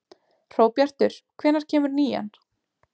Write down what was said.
Hróbjartur, hvenær kemur nían?